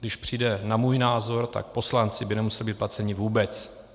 Když přijde na můj názor, tak poslanci by nemuseli být placeni vůbec.